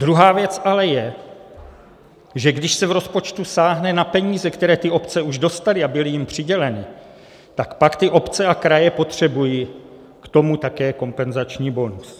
Druhá věc ale je, že když se v rozpočtu sáhne na peníze, které ty obce už dostaly a byly jim přiděleny, tak pak ty obce a kraje potřebují k tomu také kompenzační bonus.